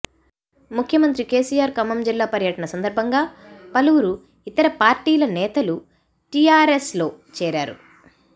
ముఖ్యమంత్రి కెసిఆర్ ఖమ్మం జిల్లా పర్యటన సందర్భంగా పలువురు ఇతర పార్టీల నేతలు టిఆర్ఎస్ లో చేరారు